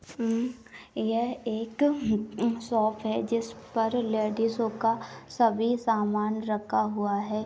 यह एक शॉप है। जिस पर लेडिज का सभी सामान रखा हुआ है।